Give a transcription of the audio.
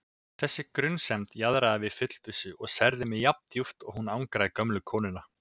Þessi grunsemd jaðraði við fullvissu og særði mig jafndjúpt og hún angraði gömlu konuna.